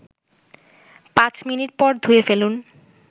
৫ minute পর ধুয়ে ফেলুন